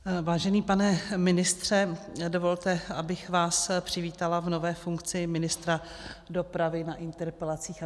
Vážený pane ministře, dovolte, abych vás přivítala v nové funkci ministra dopravy na interpelacích.